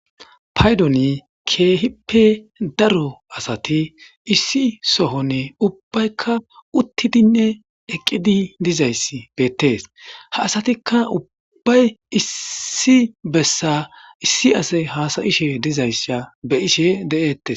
paydoni keehippe daro asati issi sohonne ubbaykka uttidinne eqqidi dizayssi beettees ha asatikka ubbbay issi bessa issi ase hasayishe dizayssa be ishe de7ettes